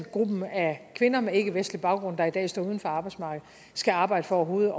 gruppen af kvinder med ikkevestlig baggrund der i dag står uden for arbejdsmarkedet skal arbejde for overhovedet